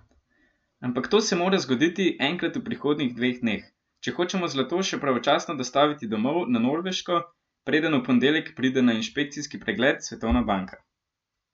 Ampak to se mora zgoditi enkrat v prihodnjih dveh dneh, če hočemo zlato še pravočasno dostaviti domov na Norveško, preden v ponedeljek pride na inšpekcijski pregled Svetovna banka!